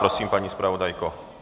Prosím, paní zpravodajko.